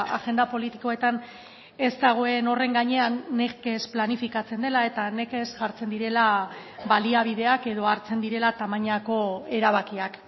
agenda politikoetan ez dagoen horren gainean nekez planifikatzen dela eta nekez jartzen direla baliabideak edo hartzen direla tamainako erabakiak